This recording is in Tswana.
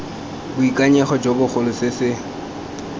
boikanyego jo bogolo se se